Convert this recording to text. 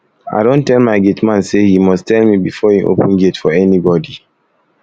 i don tell my gate man say he must tell me before he open gate for anybody